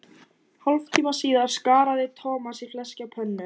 Hálftíma síðar skaraði Thomas í fleski á pönnu.